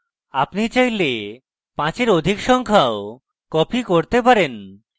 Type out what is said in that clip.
আপনি চাইলে পাঁচের অধিক সংখ্যাও copy করতে পারেন